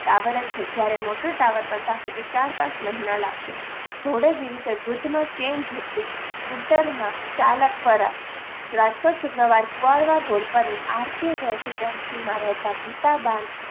Tower જ છે, જ્યારે મોટો ટાવર બનતા હજુ ચાર પાંચ મહિના લાગશે. ધોળે દિવસે વૃદ્ધનો ચેન જુટવી સ્કૂટરમાં ચાલકપરા રાજકોટ શુક્રવાર કુંવળવા રોડ પરની આર કે રેસીડેન્સીમાં રહેતા ગીતાબા ન